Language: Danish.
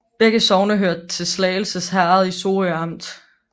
Begge sogne hørte til Slagelse Herred i Sorø Amt